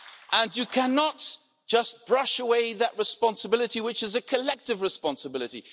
And you cannot just brush away that responsibility, which is a collective responsibility.